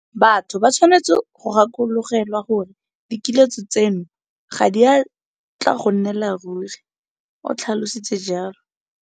Batho ba tshwanetse go gakologelwa gore dikiletso tseno ga di a tla go nnela ruri, o tlhalositse jalo.